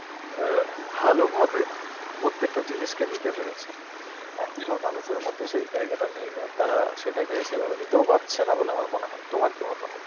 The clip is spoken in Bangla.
অ্যাঁ ভালোভাবে প্রত্যেকটা জিনিসকে নিতে পেরেছে. এখন আর মানুষের মধ্যে সেই জায়গাটা নেই, আর তারা সেটাকে সেই ভাবে নিতেও পারছে না বলে আমার মনে হয়. তোমার কি মতামত?